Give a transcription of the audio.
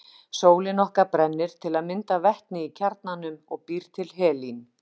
Sólin okkar brennir til að mynda vetni í kjarnanum og býr til helín.